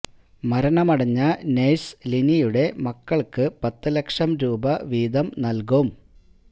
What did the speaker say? മരണമടഞ്ഞ നഴ്സ് ലിനിയുടെ മക്കൾക്ക് പത്ത് ലക്ഷം രൂപ വീതം നൽകും